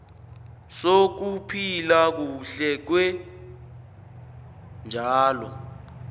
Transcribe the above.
sokuphila kuhle kweentjalo